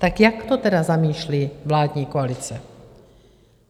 Tak jak to tedy zamýšlí vládní koalice?